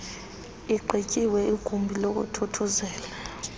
igqityiwe igumbi lokuthuthuzela